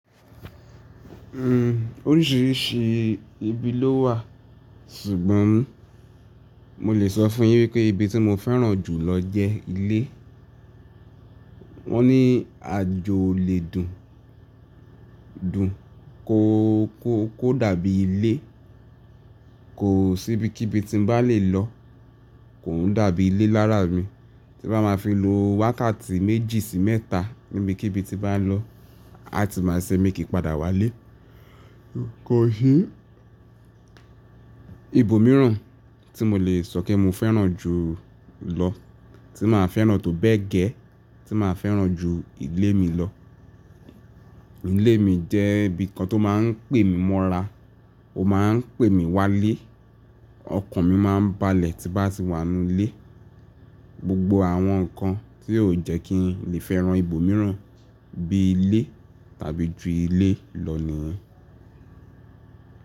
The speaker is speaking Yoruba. Oríṣìíríṣìí ibi ló wà ṣùgbọ́n mo lè sọ fún yín wípé ibi tí mo fẹ́ràn jù lọ jẹ ilé. Wọ́n ní àjò o lè dùn, dùn kò dàbí ilé. Kò sí ibikíbi tí n bá lè lọ kò ún dàbí ilé lárà mi. Tí bá máa fi lo wákàtí méjì sí mẹ́ta níbikíbi tí bá n lọ, a ti máa ṣe mí kí n padà wá ilé. Kò si ibòmíràn tí mo lè sọ pé mo fẹ́ràn jù ụ́ lọ, tí màá fẹ́ràn tó bẹ́ẹ̀ gẹ́, tí màá fẹ́ràn ju ilé mi lọ. Ilé mi jẹ́ ibìkan tó máa ń pè mí mọ́ra, ó máa ń pè mí wale. Ọkàn mi máa ń balẹ̀ tí bá ti wà nú ilé. Gbogbo àwọn nǹkan tí o jẹ́ kí n lè fẹ́ràn ibòmíràn bí i ilé tàbí ju ilé lọ nìyẹn.